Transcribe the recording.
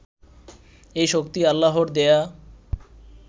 এই শক্তি আল্লাহর দেওয়া